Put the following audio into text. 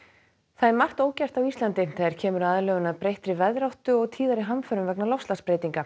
það er margt ógert á Íslandi þegar kemur að aðlögun samfélagsins að breyttri veðráttu og tíðari hamförum vegna loftslagsbreytinga